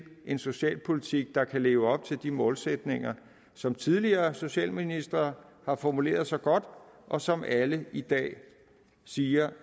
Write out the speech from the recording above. en socialpolitik der kan leve op til de målsætninger som de tidligere socialministre har formuleret så godt og som alle i dag siger